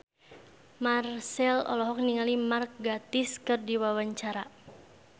Marchell olohok ningali Mark Gatiss keur diwawancara